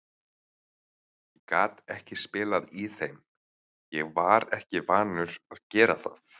Ég gat ekki spilað í þeim, ég var ekki vanur að gera það.